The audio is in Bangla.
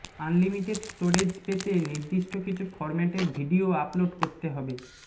আনলিমিটেড স্টোরেজ পেতে নির্দিষ্ট কিছু ফর্ম্যাটের ভিডিও আপলোড করতে হবে